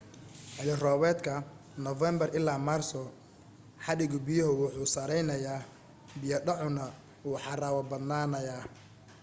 xillli roobaadka noofeembar ilaa maarso xaddiga biyuhu wuu sarraynayaa biya dhacuna wuu xaraabo badnaanayaa